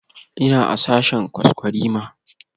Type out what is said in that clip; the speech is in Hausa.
Ina a sashen kwaskwarima